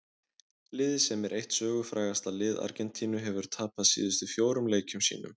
Liðið sem er eitt sögufrægasta lið Argentínu hefur tapað síðustu fjórum leikjum sínum.